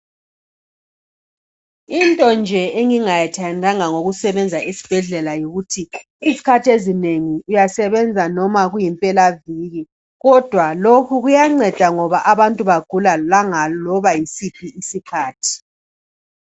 Into nje engingayithandanga ngokusebenza esibhedlela yikuthi izikhathi ezinengi uyasebenzisa loba kuyimpelaviki kodwa lokhukuyanceda ngoba abantu bagula langa loba yisiphi isikhathi.